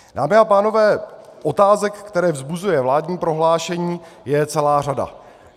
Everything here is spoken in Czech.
Dámy a pánové, otázek, které vzbuzuje vládní prohlášení, je celá řada.